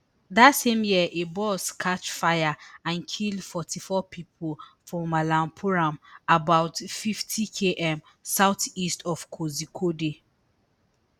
dat same year a bus catch fire and kill forty-four pipo for malappuram about fiftykm south east of kozhikode